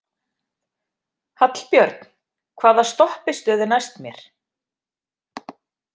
Hallbjörn, hvaða stoppistöð er næst mér?